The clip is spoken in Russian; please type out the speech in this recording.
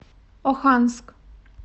оханск